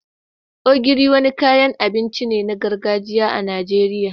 Ogiri, wani kayan abinci ne na gargajiya na Najeriya